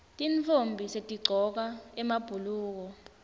tintfombi setigcoka emabhuluko